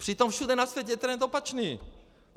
Přitom všude na světě je trend opačný.